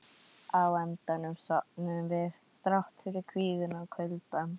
Á endanum sofnuðum við, þrátt fyrir kvíðann og kuldann.